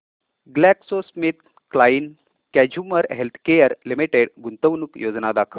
GlaxoSmithKline consumer healthcare limited गुंतवणूक योजना दाखव